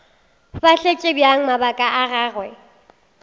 fahletše bjang mabaka a gagwe